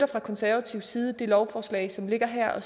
fra konservativ side det lovforslag som ligger her og